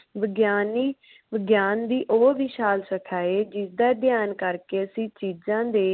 ਵਿਗਿਆਨੀ ਵਿਗਿਆਨ ਦੀ ਉਹ ਵਿਸ਼ਾਲ ਸ਼ਖਾ ਏ ਜਿਸਦਾ ਅਧਿਅਨ ਕਰਕੇ ਅਸੀਂ ਚੀਜ਼ਾਂ ਦੇ